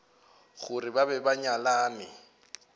gore ba be ba nyalane